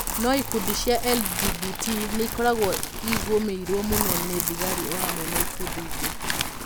No ikundi cia LGBT nĩ ikoragwo igũmĩirũo mũno nĩ thigari o hamwe na ikundi ingĩ.